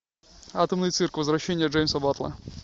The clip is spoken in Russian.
атомный цирк возвращение джеймса баттла